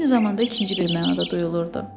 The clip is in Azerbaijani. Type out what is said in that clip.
Eyni zamanda ikinci bir məna da duyulurdu.